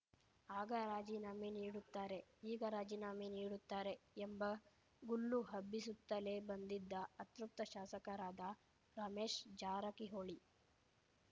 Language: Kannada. ಆಗ ರಾಜೀನಾಮೆ ನೀಡುತ್ತಾರೆ ಈಗ ರಾಜೀನಾಮೆ ನೀಡುತ್ತಾರೆ ಎಂಬ ಗುಲ್ಲು ಹಬ್ಬಿಸುತ್ತಲೇ ಬಂದಿದ್ದ ಅತೃಪ್ತ ಶಾಸಕರಾದ ರಮೇಶ್‌ ಜಾರಕಿಹೊಳಿ